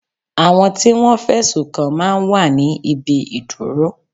Àwọn tí Wọ́n fẹ̀sùn kàn máa ń wà ní ibi ìdúró.